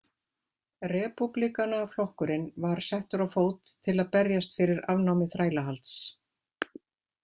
Repúblikanaflokkurinn var settur á fót til að berjast fyrir afnámi þrælahalds.